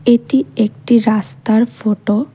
এটি একটি রাস্তার ফটো ।